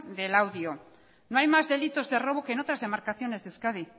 de laudio no hay más delitos de robo que en otras demarcaciones de euskadi